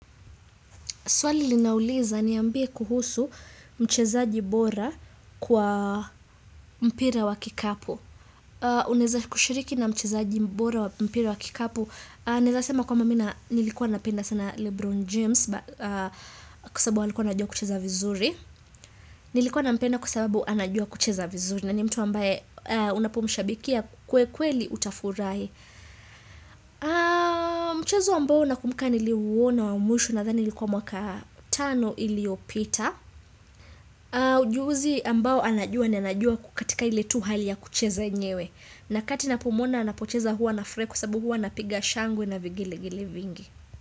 Swali linauliza niambie kuhusu mchezaji bora kwa mpira wa kikapu. Unaweza kushiriki na mchezaji bora wa mpira wa kikapu. Naweza sema kwamba mi na nilikuwa napenda sana Lebron James kwasabu alikuwa anajua kucheza vizuri. Nilikuwa nampenda kwa sababu anajua kucheza vizuri. Na ni mtu ambaye unapomshabikia kwe kweli utafurahi. Mchezo ambao nakumbuka niliuona wa mwisho nadhani ilikuwa mwaka tano iliyopita ujuzi ambao anajua ndo anajua katika ile tu hali ya kucheza yenyewe. Nakati napomuona anapocheza huwa nafurahi kwa sababu huwa napiga shangwe na vigelegele vingi.